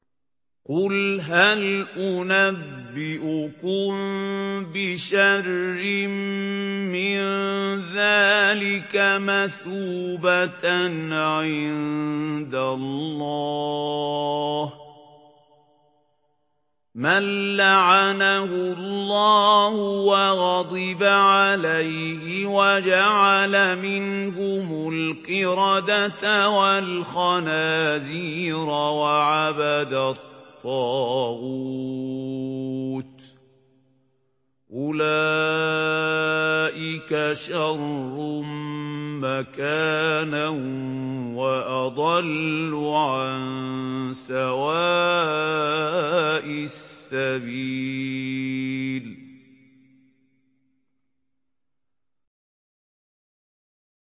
قُلْ هَلْ أُنَبِّئُكُم بِشَرٍّ مِّن ذَٰلِكَ مَثُوبَةً عِندَ اللَّهِ ۚ مَن لَّعَنَهُ اللَّهُ وَغَضِبَ عَلَيْهِ وَجَعَلَ مِنْهُمُ الْقِرَدَةَ وَالْخَنَازِيرَ وَعَبَدَ الطَّاغُوتَ ۚ أُولَٰئِكَ شَرٌّ مَّكَانًا وَأَضَلُّ عَن سَوَاءِ السَّبِيلِ